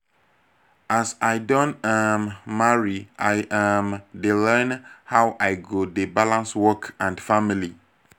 as i don um marry i um dey learn how i go dey balance work and family